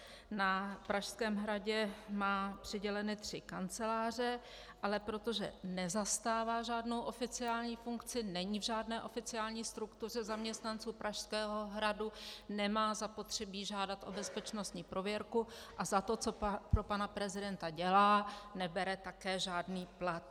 Na Pražském hradě má přiděleny tři kanceláře, ale protože nezastává žádnou oficiální funkci, není v žádné oficiální struktuře zaměstnanců Pražského hradu, nemá zapotřebí žádat o bezpečnostní prověrku a za to, co pro pana prezidenta dělá, nebere také žádný plat.